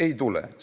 Ei tule!